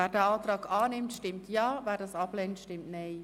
» Wer diesen Antrag annimmt, stimmt Ja, wer diesen ablehnt, stimmt Nein.